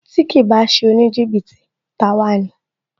Tí kìí bá ṣe oníjìbìtì, ta a wá ni